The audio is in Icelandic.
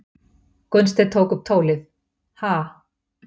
Gunnsteinn tók upp tólið:- Ha?